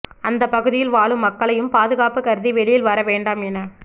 அந்த பகுதியில் வாழும் மக்களையும் பாதுகாப்பு கருதி வெளியில் வர வேண்டாம் என